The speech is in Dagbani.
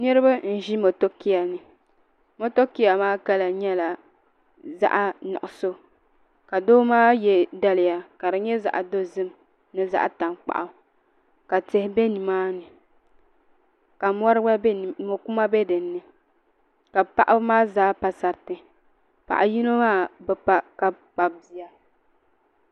Niraba n ʒi motokia ni motokia maa kala nyɛla zaɣ nuɣso ka doo maa yɛ daliya ka di nyɛ zaɣ dozim ni zaɣ tankpaɣu ka tihi bɛ nimaani ka mo kuma gba bɛ dinni ka paɣaba maa zaa pa sariri paɣa yino maa bi pa ka kpabi bia